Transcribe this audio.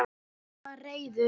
Hann var reiður.